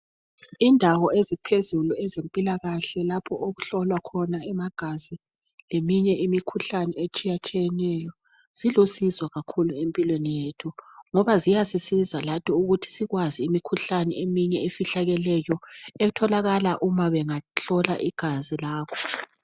Indawo eziphezulu ezempilakahle lapho okuhlolwa khona amagazi leminye imikhuhlane etshiyatshiyeneyo zilusizo kakhulu empilweni yethu ngoba ziyasisiza lathi ukuthi sikwazi imikhuhane eminye efihlakeleyo etholakala uma bengahlola igazi lakho.